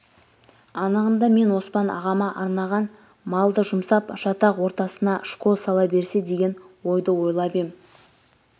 анығында мен оспан ағама арнаған малды жұмсап жатақ ортасынашкол сала берсе деген ойды ойлап ем